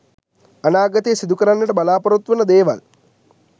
අනාගතයේ සිදු කරන්නට බලාපොරොත්තු වන දේවල්